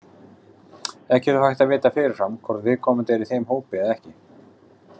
Ekki er þó hægt að vita fyrirfram hvort viðkomandi er í þeim hópi eða ekki.